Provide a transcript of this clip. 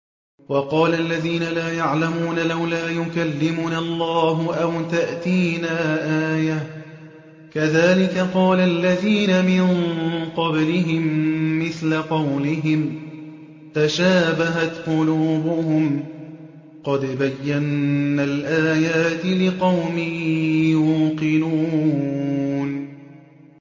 وَقَالَ الَّذِينَ لَا يَعْلَمُونَ لَوْلَا يُكَلِّمُنَا اللَّهُ أَوْ تَأْتِينَا آيَةٌ ۗ كَذَٰلِكَ قَالَ الَّذِينَ مِن قَبْلِهِم مِّثْلَ قَوْلِهِمْ ۘ تَشَابَهَتْ قُلُوبُهُمْ ۗ قَدْ بَيَّنَّا الْآيَاتِ لِقَوْمٍ يُوقِنُونَ